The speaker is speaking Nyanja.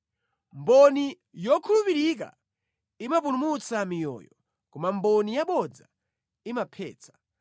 Mboni yokhulupirika imapulumutsa miyoyo, koma mboni yabodza imaphetsa.